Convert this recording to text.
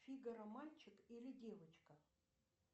фигаро мальчик или девочка